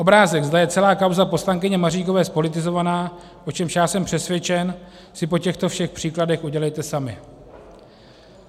Obrázek, zda je celá kauza poslankyně Maříkové zpolitizovaná, o čemž já jsem přesvědčen, si po těchto všech příkladech udělejte sami.